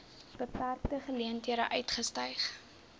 beperkte geleenthede uitgestyg